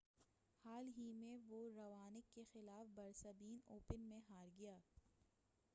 حال ہی میں وہ راونک کے خلاف برسبین اوپن میں ہار گیا